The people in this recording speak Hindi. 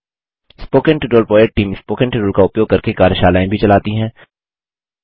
spoken tutorial project team spoken tutorial का उपयोग करके कार्यशालाएँ भी चलाती है